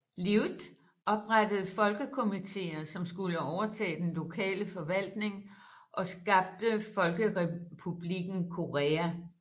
Lyuh oprettede folkekommittéer som skulle overtage den lokale forvaltning og skabte Folkrepublikken Korea